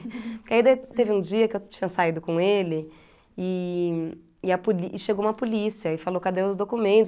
Porque aí teve um dia que eu tinha saído com ele e e a poli e chegou uma polícia e falou, cadê os